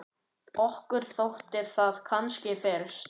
Okkur þótti það kannski fyrst.